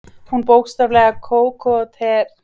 Hún bókstaflega kóketterar með öllum líkamanum.